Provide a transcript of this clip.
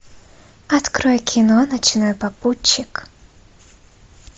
открой кино ночной попутчик